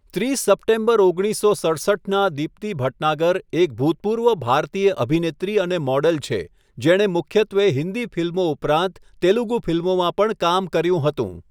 ત્રીસ સપ્ટેમ્બર ઓગણીસસો સડસઠનાં દીપ્તિ ભટનાગર એક ભૂતપૂર્વ ભારતીય અભિનેત્રી અને મોડલ છે, જેણે મુખ્યત્વે હિન્દી ફિલ્મો ઉપરાંત તેલુગુ ફિલ્મોમાં પણ કામ કર્યું હતું.